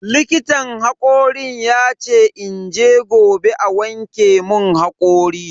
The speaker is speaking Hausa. Likitan hakorin yace in je gobe a wanke mun hakori.